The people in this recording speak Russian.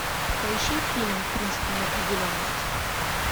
поищи фильм принцип неопределенности